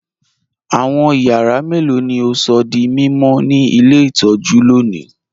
Awọn yàrà mẹ́lọ̀ ni o n sọ̀ dí mímọ̀ ni ilẹ̀ itọ̀jú lónì?